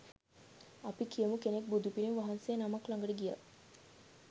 අපි කියමු කෙනෙක් බුදුපිළිම වහන්සේ නමක් ළඟට ගියා.